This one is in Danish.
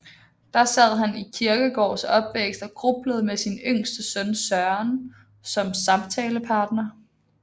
Der sad han i Kierkegaards opvækst og grublede med sin yngste søn Søren som samtalepartner